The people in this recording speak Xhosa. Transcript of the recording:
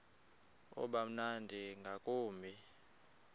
uba mnandi ngakumbi